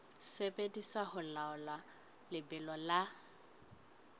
sebediswa ho laola lebelo la